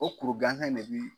O kuru ganzan in ne bi